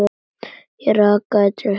Ég arkaði til hennar.